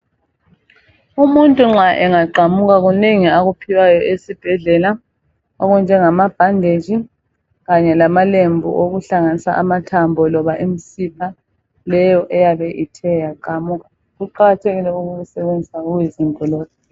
Umunta nxa engaqamuka kunengi akuphiwayo esibhedlela okunjengama bhanditshi kanye lama lembu okuhlanganisa amathambo loba imsipha leyo eyabe ithe yaqamuka. Kuqakathekile ukukusebenzisa okuyizinto lokhu.